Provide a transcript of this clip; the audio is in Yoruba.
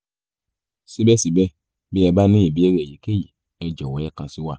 síbẹ̀síbẹ̀ bí ẹ bá ní ìbéèrè èyíkéyìí ẹ jọ̀wọ́ ẹ kàn sí wa